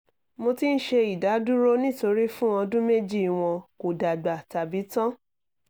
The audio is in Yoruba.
mo ti n ṣe idaduro nitori fun ọdun meji wọn ko dagba tabi tan